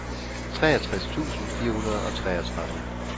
treogtres tusind fire hundrede og treogtredive